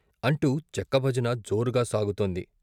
అంటూ చెక్కభజన జోరుగా సాగుతోంది.